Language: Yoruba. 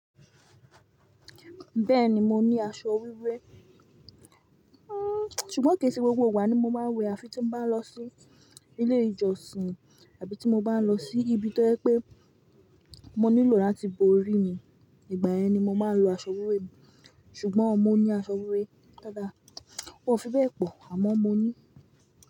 Bẹ́ẹ̀ni, mo ní aṣọ wíwẹ́. Ṣùgbọ́n kèsẹ̀ gbogbo gbà ni mo máa ń wẹ̀ àfi tí mo bá lọ sí ilé ìjọsìn àbí tí mo bá lọ sí ibi tó ẹ́ pé mo nílò láti bo orí mi. Ìgbà yẹn ni mo máa ń lo aṣọ wíwé mi. Ṣùgbọ́n mo ní aṣọ wíwé dáadáa, kò fi bẹ́ẹ̀ pọ̀ àmọ́ mo ní.